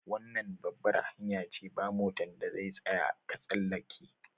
Wannan babbar hanya ce, ba' motan da zai tsaya ka tsallake.